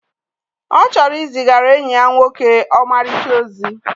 Ọ chọrọ izigara enyi ya nwoke ọmarịcha ozi